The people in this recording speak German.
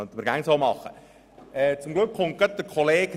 Das könnte man immer so handhaben.